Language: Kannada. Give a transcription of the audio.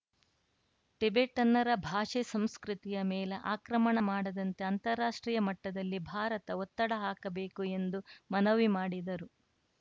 ಟಿಬೆಟನ್ನರ ಭಾಷೆ ಸಂಸ್ಕೃತಿಯ ಮೇಲೆ ಆಕ್ರಮಣ ಮಾಡದಂತೆ ಅಂತಾರಾಷ್ಟ್ರೀಯ ಮಟ್ಟದಲ್ಲಿ ಭಾರತ ಒತ್ತಡ ಹಾಕಬೇಕು ಎಂದು ಮನವಿ ಮಾಡಿದರು